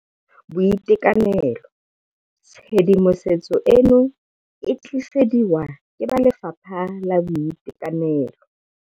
BOITEKANELO Tshedimosetso eno o e tlisediwa ke ba Lefapha la Boitekanelo.